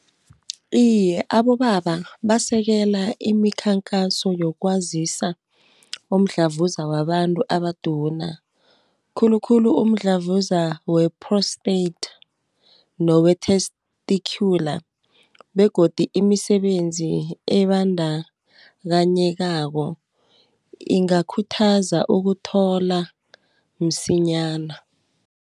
Iye abobaba basekela imikhakhaso yokwazisa umdlavuza wabantu abaduna. Khulukhulu umdlavuza we-prostate nowe-testicular, begodu imisebenzi ebandakanyekako ingakhuthaza ukuthola msinyana.